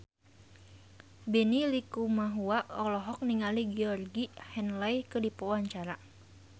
Benny Likumahua olohok ningali Georgie Henley keur diwawancara